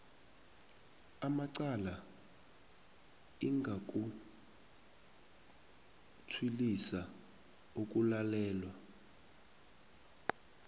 amacala ingakutshwilisa ukulalelwa